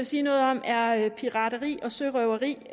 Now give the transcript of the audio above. sige noget om er pirateri og sørøveri